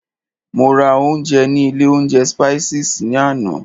Mo ra ounjẹ ní ilé oúnjẹ Spices ní àná.